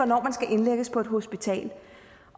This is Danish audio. indlægges på et hospital